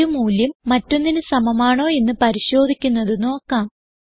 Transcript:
ഒരു മൂല്യം മറ്റൊന്നിന് സമമാണോ എന്ന് പരിശോധിക്കുന്നത് നോക്കാം